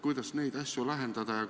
Kuidas neid asju lahendada?